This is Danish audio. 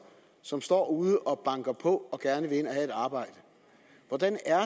som står ude og banker på og gerne vil ind at have et arbejde hvordan er